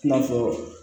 I n'a fɔ